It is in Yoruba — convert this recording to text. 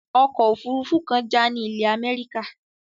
Okò òfurufú kan já ni ilè America